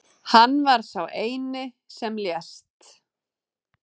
Hann var sá eini sem lést